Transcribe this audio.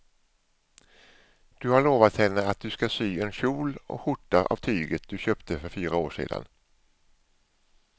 Du har lovat henne att du ska sy en kjol och skjorta av tyget du köpte för fyra år sedan.